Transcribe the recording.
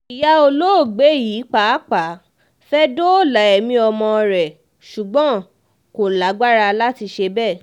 ìyá olóògbé yìí pàápàá fẹ́ẹ́ dóòlà ẹ̀mí ọmọ rẹ̀ ṣùgbọ́n kò lágbára láti ṣe bẹ́ẹ̀